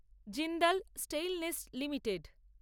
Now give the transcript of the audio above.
Jindal stainless limited